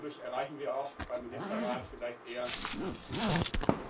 Dadurch erreichen wir auch beim Ministerrat vielleicht eher die Zustimmung.